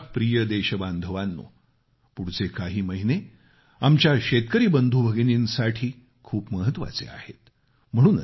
माझ्या प्रिय देशबांधवानो पुढचे काही महिने आमच्या शेतकरी बंधू भगिनींसाठी खूप महत्वाचे आहेत